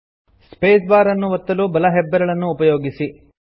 space bar ಅನ್ನು ಒತ್ತಲು ಬಲ ಹೆಬ್ಬೆರಳನ್ನು ಉಪಯೋಗಿಸಿ